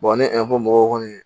ni mɔgɔw kɔni